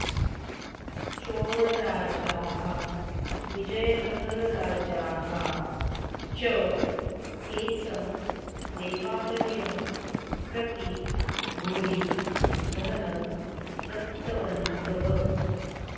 चोळराजाः विजयनगरराजाः च एतं देवालयं प्रति भूरि धनं दत्तवन्तः